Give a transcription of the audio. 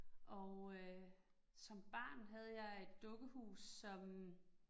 Og øh som barn havde jeg et dukke hus som